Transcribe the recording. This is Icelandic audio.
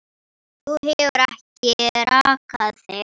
Þú hefur ekki rakað þig.